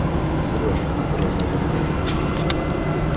серёж осторожно говорю я